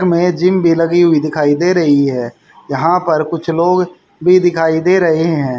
हमें जिम भी लगी हुई दिखाई दे रही है यहां पर कुछ लोग भी दिखाई दे रहे हैं।